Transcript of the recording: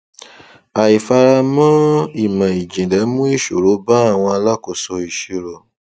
àìfaramọ ìmọjìnlẹ mú ìṣòro ba àwọn alákóso ìṣirò